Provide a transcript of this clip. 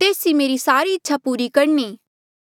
तेस ई मेरी सारी इच्छा पूरी करणी